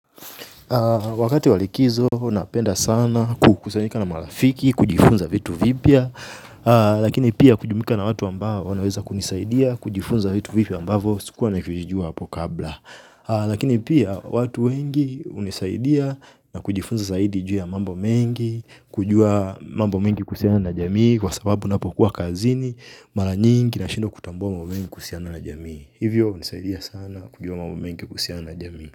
Wakati wa likizo huwa napenda sana kukusayika na marafiki, kujifunza vitu vipya. Lakini pia kujumuika na watu ambao wanaweza kunisaidia, kujifunza vitu vipya ambavyo sikuwa navijua hapo kabla. Lakini pia watu wengi hunisaidia na kujifunza zaidi juu ya mambo mengi. Kujua mambo mengi kuhusiana na jamii kwa sababu napokuwa kazini, mara nyingi nashindwa kutambua mambo mengi kuhusiana na jamii. Hivyo hunisaidia sana kujua mambo mengi kuhusiana na jamii.